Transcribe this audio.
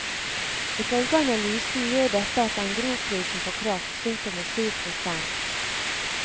Ifølge analysen gjør dette at engrosprisen på kraft synker med syv prosent.